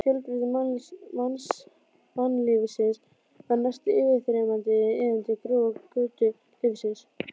Fjölbreytni mannlífsins var næstum yfirþyrmandi í iðandi grúa götulífsins.